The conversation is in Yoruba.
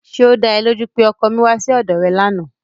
Ṣé ó da ẹ lójú pé ọkọ mi wá sí ọ̀dọ̀ rẹ lánàá?